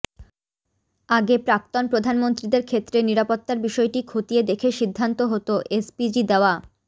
আগে প্রাক্তন প্রধানমন্ত্রীদের ক্ষেত্রে নিরাপত্তার বিষয়টি খতিয়ে দেখে সিদ্ধান্ত হত এসপিজি দেওয়া